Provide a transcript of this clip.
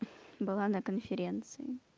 была на конференции